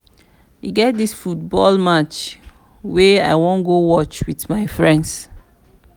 e get dis football match wey i wan go watch with my friends